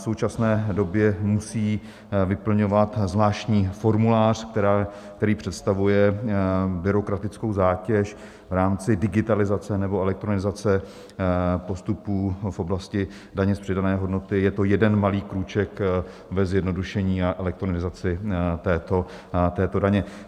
V současné době musí vyplňovat zvláštní formulář, který představuje byrokratickou zátěž, v rámci digitalizace nebo elektronizace postupů v oblasti daně z přidané hodnoty je to jeden malý krůček ve zjednodušení a elektronizaci této daně.